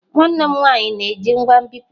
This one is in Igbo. Nwanne m nwanyị na-eji ngwa nbipute.